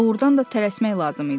Doğrudan da tələsmək lazım idi.